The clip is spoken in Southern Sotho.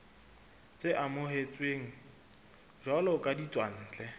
tse amohetsweng jwalo ka ditswantle